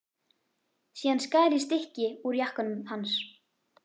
Síðan skar ég stykki úr jakkanum hans.